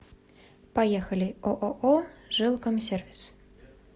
поехали ооо жилкомсервис